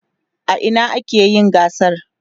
a Ina akayi gasar?